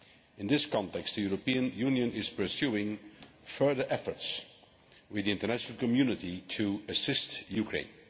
In this context, the European Union is pursuing further efforts with the international community to assist Ukraine.